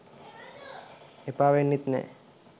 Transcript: එපා වෙන්නෙත් නෑ